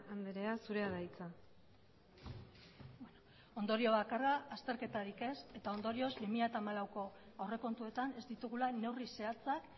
andrea zurea da hitza ondorio bakarra azterketarik ez eta ondorioz bi mila hamalauko aurrekontuetan ez ditugula neurri zehatzak